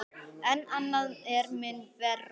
En annað er mun verra.